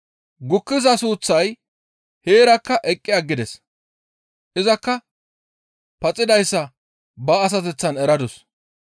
Gukkiza suuththay heerakka eqqi aggides; izakka paxidayssa ba asateththan eradus.